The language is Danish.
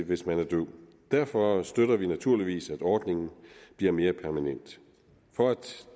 hvis man er døv derfor støtter vi naturligvis at ordningen bliver mere permanent for